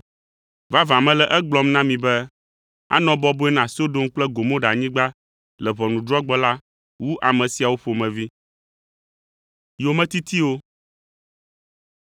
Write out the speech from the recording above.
Vavã mele egblɔm na mi be, anɔ bɔbɔe na Sodom kple Gomoranyigba le ʋɔnudrɔ̃gbe la wu ame siawo ƒomevi.